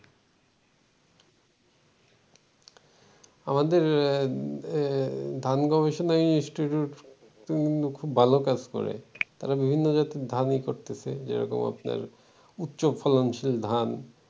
আমাদের ধান গবেষণা institute খুব ভালো কাজ করে ।তারা বিভিন্ন ধানের জাতের ই করতেছে । যেরকম আপনার উচ্চ ফলনশীল ধান